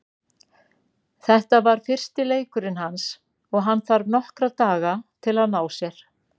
Þetta var fyrsti leikurinn hans og hann þarf nokkra daga til að ná sér.